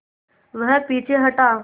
वह पीछे हटा